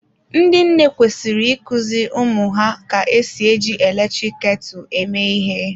Ndị nne kwesịrị ị kuziri ụmụ ha ka-esi eji eletrik ketu eme ihe.